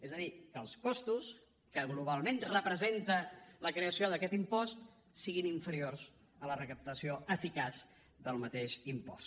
és a dir que els costos que globalment representa la creació d’aquest impost siguin inferiors a la recaptació eficaç del mateix impost